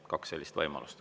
Kaks sellist võimalust.